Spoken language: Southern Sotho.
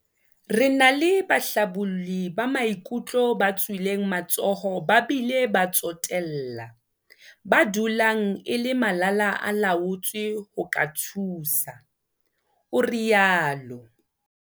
Re na le bahlabolli ba maikutlo ba tswileng matsoho ba bile ba tsotella, ba dulang e le malala-a-laotswe ho ka thusa," o itsalo.